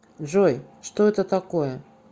джой что это такое